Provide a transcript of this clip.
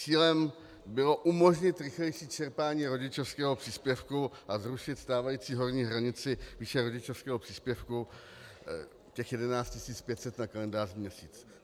Cílem bylo umožnit rychlejší čerpání rodičovského příspěvku a zrušit stávající horní hranici výše rodičovského příspěvku, těch 11 500 na kalendářní měsíc.